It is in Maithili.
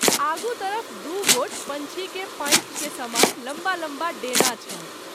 आगू तरफ दु गोट पंछी के पाँखि के समान लम्बा लम्बा डेना छल।